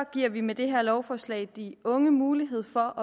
giver vi med det her lovforslag de unge mulighed for